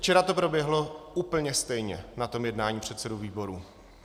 Včera to proběhlo úplně stejně na tom jednání předsedů výborů.